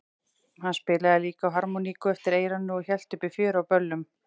Hann spilaði líka á harmoníku eftir eyranu og hélt uppi fjöri á böllum.